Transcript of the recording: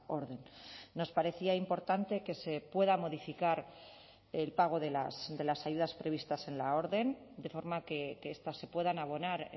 orden nos parecía importante que se pueda modificar el pago de las ayudas previstas en la orden de forma que estas se puedan abonar